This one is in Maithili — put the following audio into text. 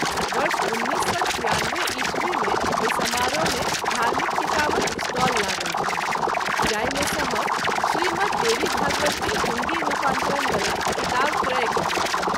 वर्ष १९९६ ई० मे ओहि समारोह मे धार्मिक किताबक स्टाल लागल छल जाहि मे सँ हम श्री मद्देवीभागवत के हिन्दी रूपांतरण वला किताब क्रय कएल।